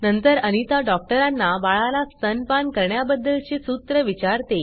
नंतर अनिता डॉक्टरांना बाळाला स्तनपान करण्या बद्दलचे सूत्र विचारते